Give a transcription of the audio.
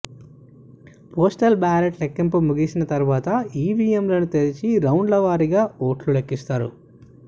postal బ్యాలెట్ల లెక్కింపు ముగిసిన తర్వాత ఈవీఎంలను తెరిచి రౌండ్ల వారీగా ఓట్లు లెక్కిస్తారు